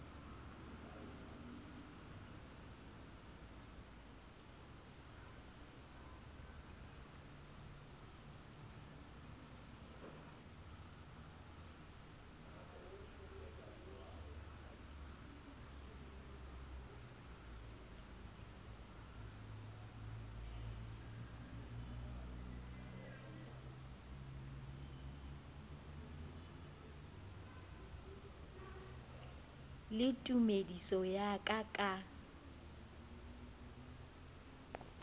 le tumediso ya ka ka